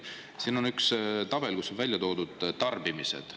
Siin on üks tabel, kus on välja toodud tarbimised.